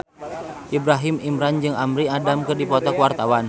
Ibrahim Imran jeung Amy Adams keur dipoto ku wartawan